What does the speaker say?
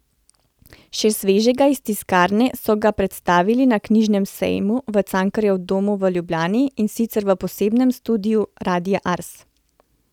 Še svežega iz tiskarne so ga predstavili na knjižnem sejmu v Cankarjevem domu v Ljubljani, in sicer v posebnem studiu Radia Ars.